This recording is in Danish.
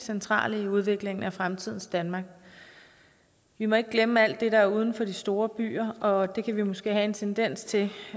centrale i udviklingen af fremtidens danmark vi må ikke glemme alt det der er uden for de store byer og det kan vi måske have en tendens til